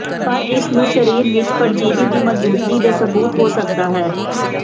ਪਰ ਇਸ ਨੂੰ ਸਰੀਰ ਵਿੱਚ ਪਰਜੀਵੀ ਦੀ ਮੌਜੂਦਗੀ ਦੇ ਸਬੂਤ ਹੋ ਸਕਦਾ ਹੈ